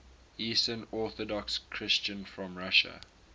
eastern orthodox christians from russia